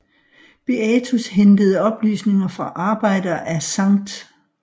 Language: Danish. Beatus hentede oplysninger fra arbejder af Skt